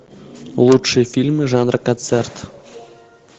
лучшие фильмы жанра концерт